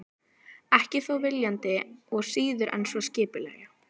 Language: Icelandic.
Ekki þó viljandi og síður en svo skipulega.